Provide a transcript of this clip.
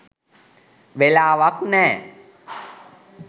වෙලාවක් නෑ.